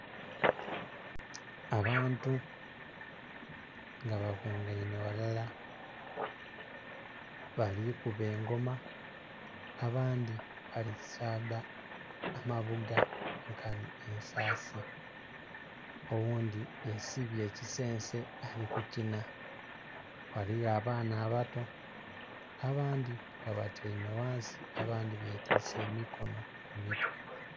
Abantu nga bakungainhe ghalala balikuba engoma abandhi bali saadha amabuga nkanhi ensasi, oghundhi yesibye ekisense ali kukinha ghaligho abaana abato abandhi nga batyaime ghansi abandhi betwise emikonho ku mitwe.